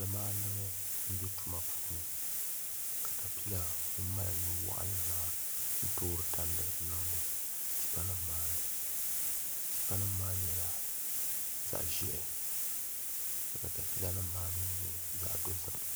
Pali maandibi n bɛ tuma puuni katapila ŋun mali nu waɣanli maa n toori tandi n niŋdi tipa nim maa ni tipa nim maa nyɛla zaɣ ʒiɛhi ka katapila nim maa mii nyɛ zaɣ dozim